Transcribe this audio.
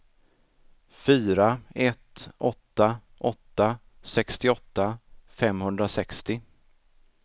fyra ett åtta åtta sextioåtta femhundrasextio